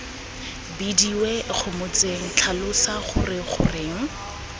bidiwe ikgomotseng tlhalosa gore goreng